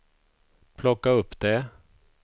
plocka upp det